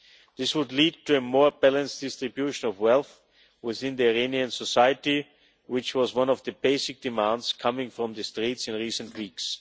This would lead to a more balanced distribution of wealth within Iranian society, which was one of the basic demands coming from the streets in recent weeks.